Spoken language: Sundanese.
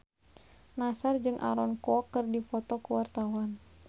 Nassar jeung Aaron Kwok keur dipoto ku wartawan